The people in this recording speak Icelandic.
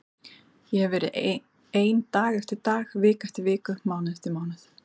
Ég hefi verið ein dag eftir dag, viku eftir viku, mánuð eftir mánuð.